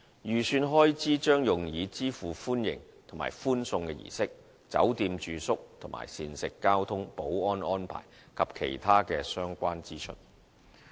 預算開支將用以支付歡迎、歡送的儀式、酒店住宿及膳食、交通、保安安排，以及其他相關支出。